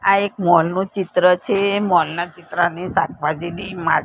આ એક મોલ નું ચિત્ર છે મોલ ના ચિત્રની શાકભાજીની માર--